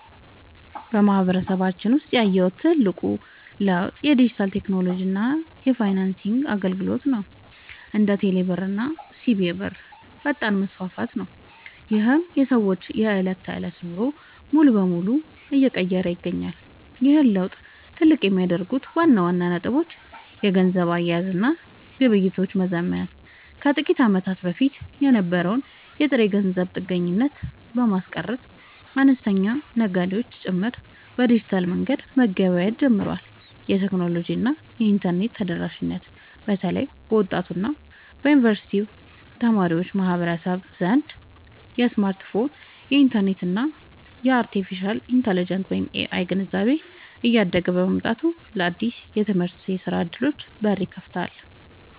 በማህበረሰባችን ውስጥ ያየሁት ትልቁ ለውጥ የዲጂታል ቴክኖሎጂ እና የፋይናንስ አገልግሎቶች (እንደ ቴሌብር እና ሲቢኢ ብር) ፈጣን መስፋፋት ነው፤ ይህም የሰዎችን የዕለት ተዕለት ኑሮ ሙሉ በሙሉ እየቀየረ ይገኛል። ይህን ለውጥ ትልቅ የሚያደርጉት ዋና ዋና ነጥቦች - የገንዘብ አያያዝ እና ግብይት መዘመን፦ ከጥቂት ዓመታት በፊት የነበረውን የጥሬ ገንዘብ ጥገኝነት በማስቀረት፣ አነስተኛ ነጋዴዎች ጭምር በዲጂታል መንገድ መገበያየት ጀምረዋል። የቴክኖሎጂ እና የኢንተርኔት ተደራሽነት፦ በተለይ በወጣቱ እና በዩኒቨርሲቲ ማህበረሰብ ዘንድ የስማርትፎን፣ የኢንተርኔት እና የአርቴፊሻል ኢንተለጀንስ (AI) ግንዛቤ እያደገ መምጣቱ ለአዳዲስ የትምህርትና የሥራ ዕድሎች በር ከፍቷል።